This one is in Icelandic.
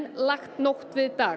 lagt nótt við dag